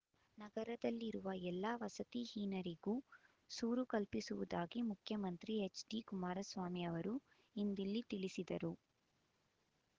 ನಗರದಲ್ಲಿರುವ ಎಲ್ಲಾ ವಸತಿಹೀನರಿಗೂ ಸೂರು ಕಲ್ಪಿಸುವುದಾಗಿ ಮುಖ್ಯಮಂತ್ರಿ ಹೆಚ್ಡಿ ಕುಮಾರಸ್ವಾಮಿ ಅವರು ಇಂದಿಲ್ಲಿ ತಿಳಿಸಿದರು